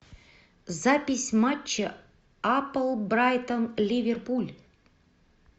запись матча апл брайтон ливерпуль